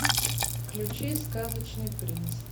включи сказочный принц